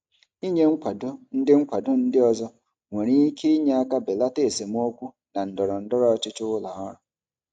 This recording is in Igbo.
Ịnye nkwado ndị nkwado ndị ọzọ nwere ike inye aka belata esemokwu na ndọrọ ndọrọ ọchịchị ụlọ ọrụ.